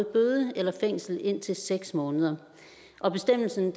bøde eller fængsel indtil seks måneder og bestemmelsen